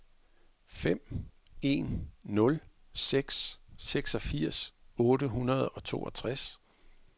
fem en nul seks seksogfirs otte hundrede og toogtres